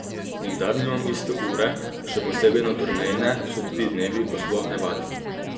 Nikdar nimam iste ure, še posebej na turneji ne, so tudi dnevi, ko sploh ne vadim.